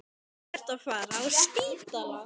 Nú ertu að fara á spítala